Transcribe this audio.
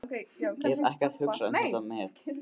Hef ekkert hugsað um þetta met.